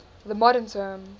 the modern term